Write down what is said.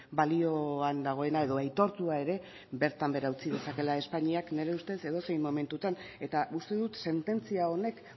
balioan dagoena edo aitortua ere bertan behera utzi dezakeela espainiak nire ustez edozein momentutan eta uste dut sententzia honek